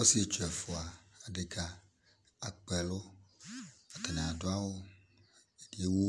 Ɔsietsu ɛfua adɛka akpa ɛlʋ, atani adʋ awʋ, ɛdi ewu,